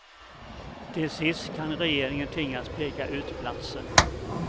Till sist kan regeringen tvingas peka ut platsen.